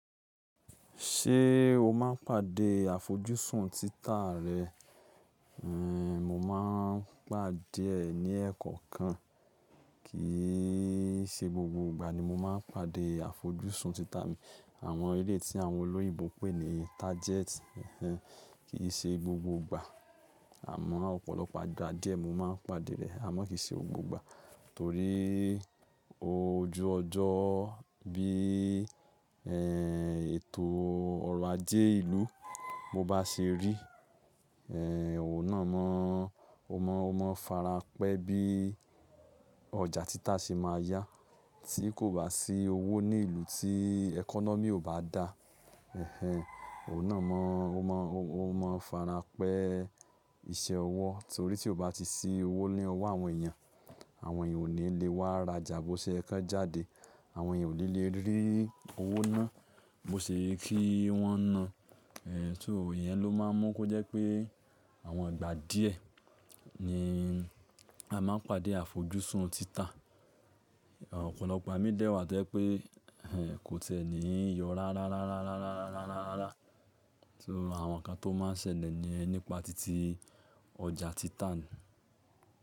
Ṣé o máa ń pàdé àfojúsùn títà rẹ? Ehn, mo máa ń pàdé ẹ ní ẹ́ẹ̀kọ̀kan. Kìí ṣe gbogbo ìgbà ni mo máa ń pàdé àfojúsùn títà mi. Àwọn eleyii tí àwọn olóyìibo pè ní target ehenhen kì í ṣe gbogbo ìgbà. Àmọ́ ọ̀pọ̀lọpọ̀ ìgbà díẹ̀ mo máa ń pàdé rẹ̀, àmọ́ kì í ṣe gbogbo ìgbà. Torí ojú ọjọ́ bí, ehn, ètò ọrọ̀ ajé ìlú bo bá ṣe rí, ehn, òun náà mọ, o mọ, o mọ fára pẹ́ bí ọjà títà ṣe máa yá. Tí kò bá sí owó ní ìlú tí ẹkọnọ́mì ò bá dá, ehn, òun náà mọ, o mọ, o mọ fára pẹ́ iṣẹ́ ọwọ́. Torí tí kò bá ti sí owó ní ọwọ́ àwọn èèyàn, àwọn èèyàn ò ní le wá ra ọjà bó ṣe yẹ kan jáde. Àwọn èèyàn ò ní le rí owó náà bó ṣe ye kí wọ́n na. Eh, so iyẹn ló má ń mú kó jẹ́ pé àwọn ìgbà díẹ̀ ni a máa ń pàdé àfojúsùn títà. Ọ̀pọ̀lọpọ̀ igba mi dẹ̀ wà tó jẹ́ pé, ehn, kò ti e ní yọ rárárárárárárárárá. So àwọn nǹkan tó máa ń ṣẹlẹ̀ nìyen nípa titi ọjà títà ni.